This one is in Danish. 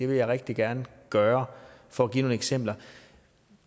vil jeg rigtig gerne gøre for at give nogle eksempler